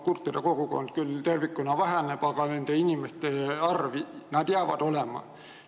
Kurtide kogukond küll tervikuna väheneb, aga need inimesed jäävad alati olema.